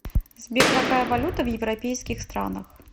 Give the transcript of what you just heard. сбер какая валюта в европейских странах